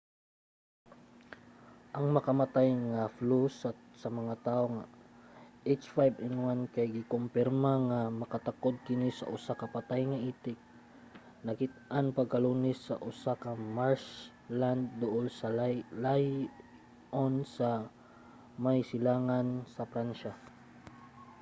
ang makamatay nga flu sa mga tawo h5n1 kay gikumpirma nga nakatakod kini og usa ka patay nga itik nakit-an pagka-lunes sa usa ka marshland duol sa lyon sa may silangan sa pransiya